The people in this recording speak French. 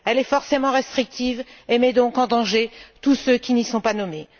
Elle est forcément restrictive et met donc en danger tous ceux qui n'y sont pas nommés.